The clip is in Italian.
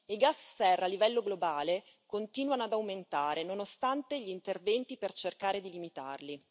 I gas serra a livello globale continuano ad aumentare, nonostante gli interventi per cercare di limitarli.